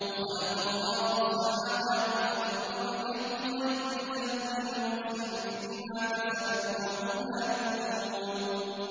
وَخَلَقَ اللَّهُ السَّمَاوَاتِ وَالْأَرْضَ بِالْحَقِّ وَلِتُجْزَىٰ كُلُّ نَفْسٍ بِمَا كَسَبَتْ وَهُمْ لَا يُظْلَمُونَ